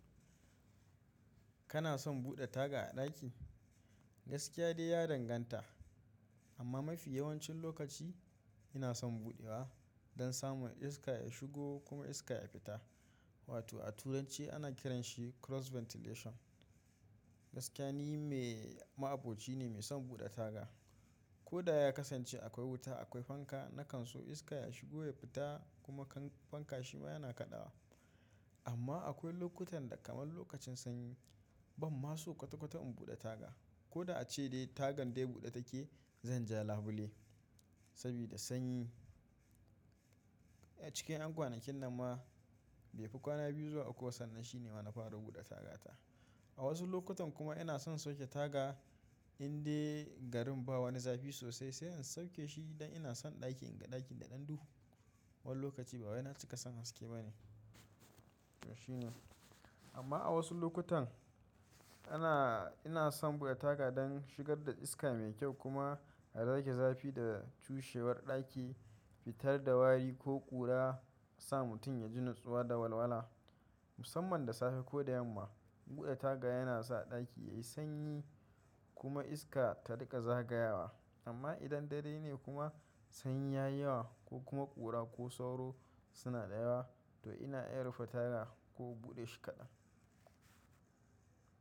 Kana son buɗe taga a ɗaki? Gaskiya dai ya danganta, amma mafi yawancin lokaci ina son buɗewa don samun iska ya shigo kuma iska ya fita Watoh a turanci ana kiranshi cross ventilation. Gaskiya ni me ma'aboci ne mai son buɗe taga. Koh da ya kasance akwai wuta, akwai fanka, na kan so iska ya shigo ya fita kuma kan fanka shi ma yana kaɗawa. Amma akwai lokutan da kamar lokacin sanyi, ban ma so kwata-kwata in buɗe taga, ko da ace dai tagan de buɗe take zan ja labule sabida sanyi. A cikin 'yan kwanakin nan ma, bai fi kwana biyu zuwa uku sannan shine ma na fara buɗe tagata. A wasu lokutan kuma ina son sauke taga in dai garin ba wani zafi sosai sai in sauke shi don ina son ɗaki in ga ɗaki da ɗan duhu. Wani lokaci ba wai na cika son haske ba ne toh shi ne. Amma a wasu lokutan, ina ina son buɗe taga don shigar da iska mai kyau kuma a rage zafi da cushewar ɗaki, fitar da wari ko ƙura sa mutum ya ji nutsuwa da walwala. Musamman da safe ko da yamma, buɗe taga yana sa ɗaki ya yi sanyi kuma iska ta riƙa zagayawa. Amma idan dare ne kuma sanyi ya yi yawa ko kuma ƙura ko sauro. Suna da yawa toh ina iya rufe taga ko in buɗe shi kaɗan.